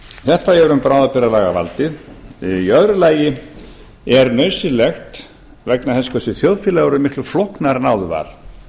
þetta er um bráðabirgðalagavaldið í öðru lagi er nauðsynlegt vegna þess hversu þjóðfélagið er orðið miklu flóknara en áður var